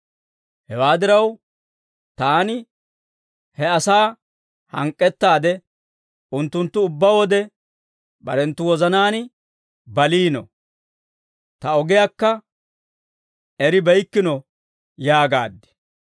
Hewaa diraw, taani, he asaa hank'k'ettaade, ‹Unttunttu ubbaa wode barenttu wozanaan baliino. Ta ogiyaakka eribeykkino› yaagaad.